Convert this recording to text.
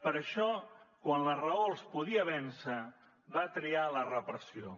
per això quan la raó els podia vèncer van triar la repressió